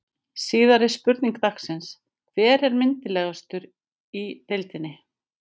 Síðari spurning dagsins: Hver er myndarlegastur í deildinni?